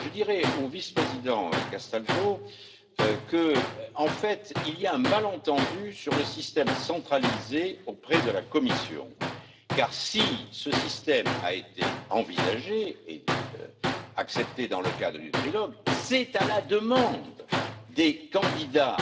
Je dirais au vice président Castaldo qu'en fait il y a un malentendu sur le système centralisé auprès de la Commission, car si ce système a été envisagé et accepté dans le cadre du trilogue, c'est précisément à la demande des candidats